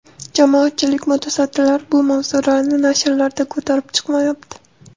Jamoatchilik, mutasaddilar bu mavzularni nashrlarda ko‘tarib chiqmayapti.